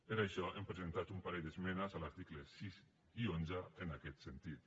per això hem presentat un parell d’esmenes a l’article sis i onze en aquest sentit